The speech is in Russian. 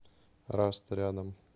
раст рядом